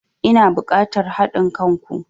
Ina bukatan hadin kan ku.